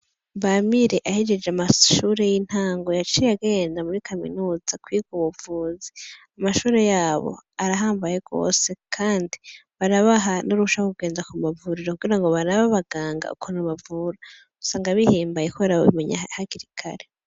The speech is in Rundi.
Bamire ahejeje amashure y'intango yaciye agenda muri Kaminuza kwiga ubuvuzi, amashure yabo arahambaye gose kandi barabaha n'uruhusha rwo kugenda ku ma vuriro kugira barabe abaganga ukuntu bavura. Usanga bihimbaye kubera babimenya hakiri kare.